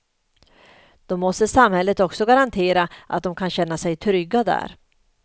Då måste samhället också garantera att de kan känna sig trygga där.